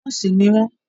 Nọ́ọ̀sì ni wọ́n